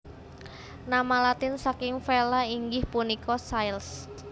Nama Latin saking Vela inggih punika sails